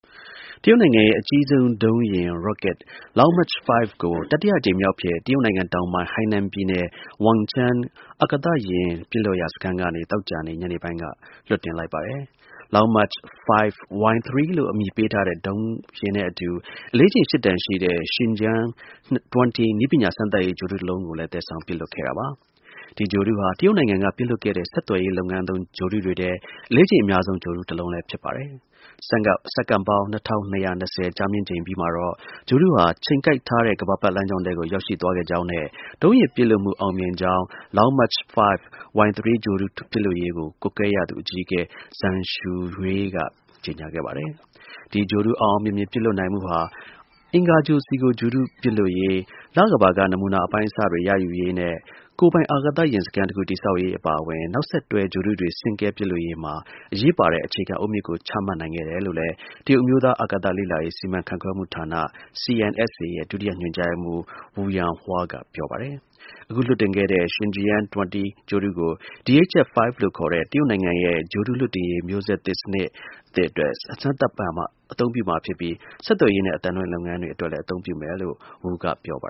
တရုတ်နိုင်ငံရဲ့ အကြီးဆုံးဒုံးယာဉ် Long March 5 ကို တတိယအကြိမ်မြောက်အဖြစ် တရုတ်နိုင်ငံ တောင်ပိုင်း ဟိုင်နန်ပြည်နယ် Wenchang အာကာသ ဒုံးယာဉ်လွှတ်စခန်းကနေ သောကြာနေ့ ညနေပိုင်းက လွှတ်တင်လိုက်ပါတယ်။ Long March – 5 Y3 လို့ အမည်ပေးထားတဲ့ ဒုံးယာဉ်နဲ့အတူ အလေးချိန် ၈ တန်ရှိတဲ့ Shijian - 20 နည်းပညာစမ်းသပ်ရေး ဂြိုဟ်တုတလုံးကို သယ်ဆောင်ပစ်လွှတ်ခဲ့တာပါ။ ဒီဂြိုဟ်တုဟာ တရုတ်နိုင်ငံက ပစ်လွှတ်ခဲ့တဲ့ ဆက်သွယ်ရေးလုပ်ငန်းသုံး ဂြိုဟ်တုတွေထဲ အလေးချိန်အများဆုံး ဂြိုဟ်တုတလုံး ဖြစ်ပါတယ်။ စက္ကန့်ပေါင်း ၂၂၂၀ ကြာမြင့်ပြီးချိန်မှာတော့ ဂြိုဟ်တုဟာ ချိန်ကိုက်ထားတဲ့ ကမ္ဘာပတ်လမ်းကြောင်းထဲကို ရောက်ရှိသွားကြောင်းနဲ့ ဒုံးယာဉ်ပစ်လွှတ်မှု အောင်မြင်ကြောင်း Long March – 5 Y3 ဂြိုဟ်တုပစ်လွှတ်ရေးကို ကွပ်ကွဲရသူ အကြီးအကဲ Zhang Xueyu က ကြေညာခဲ့ပါတယ်။ ဒီဂြိုဟ်တု အောင်အောင်မြင်မြင် ပစ်လွှတ်နိုင်မှုဟာ အင်္ဂါဂြိုဟ်ပေါ် ဂြိုဟ်တု လွှတ်တင်ရေး၊ လကမ္ဘာက နမူနာ အပိုင်းအစတွေ ရယူရေးနဲ့ ကိုယ်ပိုင် အာကာသစခန်းတခု တည်ဆောက်ရေး အပါအဝင် နောက်ဆက်တွဲ ဂြိုဟ်တုတွေ ဆင့်ကဲပစ်လွှတ်ရေးမှာ အရေးပါတဲ့ အခြေခံအုတ်မြစ်ကို ချမှတ်နိုင်ခဲ့တယ်လို့လည်း တရုတ်အမျိုးသား အာကာသလေ့လာရေး စီမံခန့်ခွဲမှုဌာန (CNSA) ရဲ့ ဒုတိယ ညွှန်ကြားရေးမှူး Wu Yanhua က ပြောပါတယ်။ အခုလွှတ်တင်ခဲ့တဲ့ Shijian -20 ဂြိုဟ်တုကို DHF – 5 လို့ ခေါ်တဲ့ တရုတ်နိုင်ငံရဲ့ ဂြိုဟ်တုလွှတ်တင်ရေး မျိုးဆက်သစ် စနစ်သစ်အတွက် စမ်းသပ်အသုံးပြုမှာဖြစ်ပြီး ဆက်သွယ်ရေးနဲ့ အသံလွှင့်လုပ်ငန်းတွေ အတွက်လည်း အသုံးပြုမယ်လို့ Wu က ပြောပါ